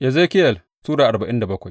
Ezekiyel Sura arba'in da bakwai